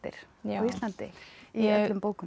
á Íslandi í öllum bókunum